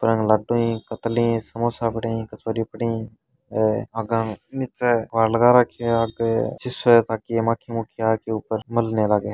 M laddoo है कतली ही नमकीन समोसा कचोरी पड़ी है नीचे अलग रखी है ताकि मक्खी मक्खी आकर ऊपर मल न लाग।